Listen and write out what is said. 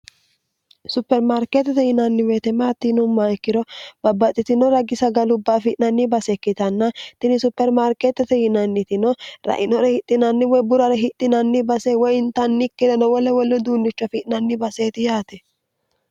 supermaarkeetete yinanniweyitemaatiinumma ikkiro babbaxxitinoragi sagalubba afi'nanni basekkitanna tini supermaarkeetete yinannitino rainore hixinanni woy burare hixinanni base woy intannikkirenowole wollu duunnicho afi'nanni baseeti yaate